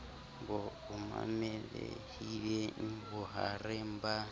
bo amohelehileng bo mahareng ba